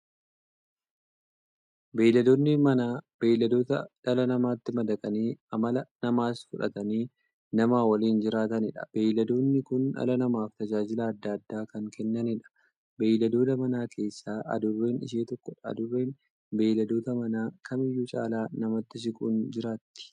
Beeyladoonni Manaa beeyladoota dhala namaatti madaqanii amala namaas fudhatanii, nama waliin jiraataniidha. Beeyladoonni kun dhala namaaf tajaajila adda addaa kan kennaniidha. Beeyladoota Manaa keessaa Adurreen ishee tokkodha. Adurreen beeyladoota Manaa kamiyyuu caala namatti siquun jiraatti.